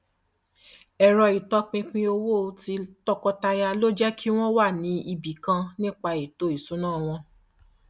ẹrọ ìtọpinpin owó tí tọkọtaya lò jẹ kí wọn wà ní ibi kan nípa ètò ìṣúná wọn